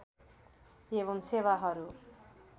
एवं सेवाहरू